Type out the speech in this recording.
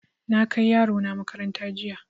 Na kai yaro na makaranta jiya.